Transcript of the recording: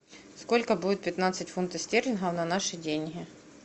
сколько будет пятнадцать фунтов стерлингов на наши деньги